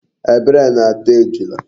Ebere na-ata Ejula